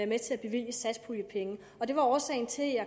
med til at bevilge satspuljepenge og det var årsagen til at